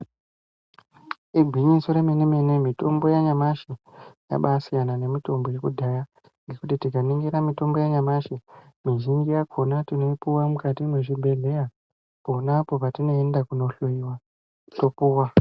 Igwinyiso yemene-mene mitombo yanyamashi yabasiyana nemitombo yakudhaya. Nekuti tikaningira mitombo yanyamashi mizhinji yakona tinoipuva mukati mwezvibhedhleya, ponapo patinoenda kunohloiwa topuwa.